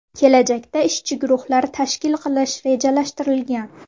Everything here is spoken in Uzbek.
Kelajakda ishchi guruhlar tashkil qilish rejalashtirilgan.